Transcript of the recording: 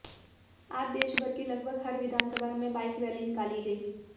आज देश भर की लगभग हर विधानसभा में बाइक रैली निकाली गई